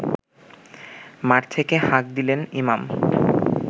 মাঠ থেকে হাঁক দিলেন ইমাম